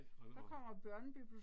Nej, hold da op